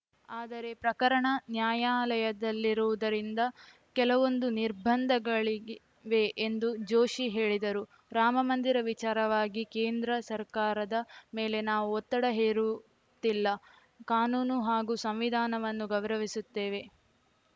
ಆದರೆ ಪ್ರಕರಣ ನ್ಯಾಯಾಲಯದಲ್ಲಿರುವುದರಿಂದ ಕೆಲವೊಂದು ನಿರ್ಬಂಧಗಳಿವೆ ಎಂದು ಜೋಶಿ ಹೇಳಿದರು ರಾಮಮಂದಿರ ವಿಚಾರವಾಗಿ ಕೇಂದ್ರ ಸರ್ಕಾರದ ಮೇಲೆ ನಾವು ಒತ್ತಡ ಹೇರುತ್ತಿಲ್ಲ ಕಾನೂನು ಹಾಗೂ ಸಂವಿಧಾನವನ್ನು ನಾವು ಗೌರವಿಸುತ್ತೇವೆ